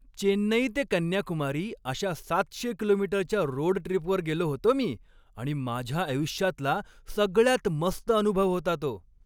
चेन्नई ते कन्याकुमारी अशा सातशे किलोमीटरच्या रोड ट्रिपवर गेलो होतो मी आणि माझ्या आयुष्यातला सगळ्यात मस्त अनुभव होता तो.